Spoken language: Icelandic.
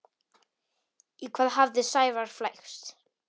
Í hvað hafði Sævar flækst?